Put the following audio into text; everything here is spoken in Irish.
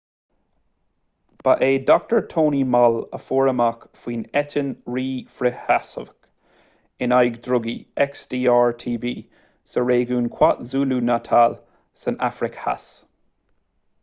ba é dr. tony moll a fuair amach faoin eitinn rí-fhrithsheasmhach in aghaidh drugaí xdr-tb sa réigiún kwazulu-natal san afraic theas